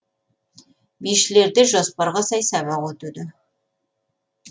бишілерде жоспарға сай сабақ өтуде